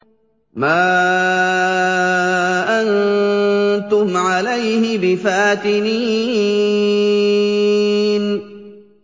مَا أَنتُمْ عَلَيْهِ بِفَاتِنِينَ